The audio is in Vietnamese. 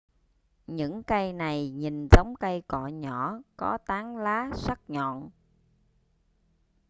những cây này nhìn giống cây cọ nhỏ có tán lá sắc nhọn